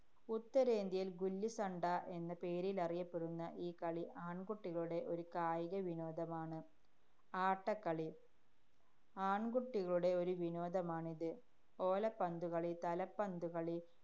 ഉത്തരേന്ത്യയില്‍ ഗുല്ലിസണ്ട എന്ന പേരിലറിയപ്പെടുന്ന ഈ കളി, ആണ്‍കുട്ടികളുടെ ഒരു കായികവിനോദമാണ്. ആട്ടക്കളി. ആണ്‍കുട്ടികളുടെ ഒരു വിനോദമാണിത്. ഓലപ്പന്തുകളി, തലപ്പന്തുകളി,